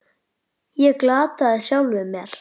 Ég glataði sjálfum mér.